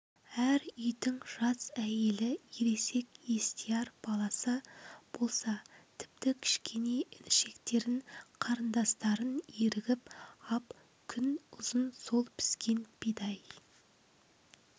әр үйдің жас әйелі ересек естияр баласы болса тіпті кішкене інішектерін қарындастарын ерігіп ап күн ұзын сол піскен бидай